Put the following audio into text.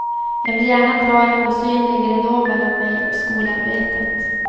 Jag ville gärna dra en osynlig ridå mellan mig och skolarbetet.